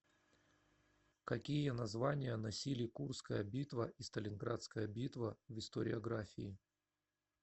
какие названия носили курская битва и сталинградская битва в историографии